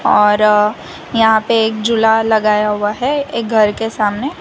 और यहां पे एक झूला लगाया हुआ है एक घर के सामने --